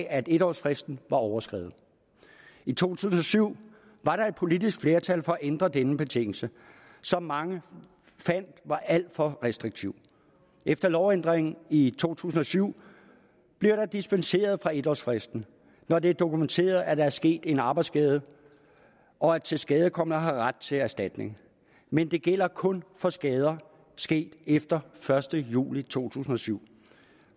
at en årsfristen var overskredet i to tusind og syv var der et politisk flertal for at ændre denne betingelse som mange fandt var alt for restriktiv efter lovændringen i to tusind og syv bliver der dispenseret fra en årsfristen når det er dokumenteret at der er sket en arbejdsskade og at tilskadekomne har ret til erstatning men det gælder kun for skader sket efter første juli to tusind og syv